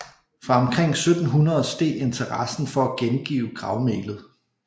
Fra omkring 1700 steg interessen for at gengive gravmælet